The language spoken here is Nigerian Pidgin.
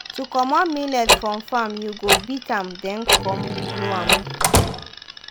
to comot millet from farm you go beat am then come blow am.